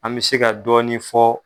An mɛ se ka dɔɔni fɔ.